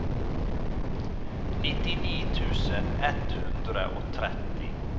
nittini tusen ett hundre og tretti